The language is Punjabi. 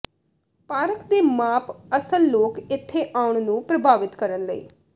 ਪਾਰਕ ਦੇ ਮਾਪ ਅਸਲ ਲੋਕ ਇੱਥੇ ਆਉਣ ਨੂੰ ਪ੍ਰਭਾਵਿਤ ਕਰਨ ਲਈ